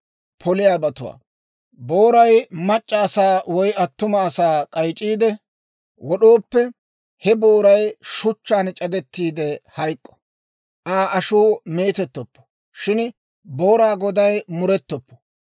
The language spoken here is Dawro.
«Booray mac'c'a asaa woy attuma asaa k'ayc'c'iide wod'ooppe, he booray shuchchaan c'adettiide hayk'k'o; Aa ashuu meetettoppo. Shin booraa goday murettoppo.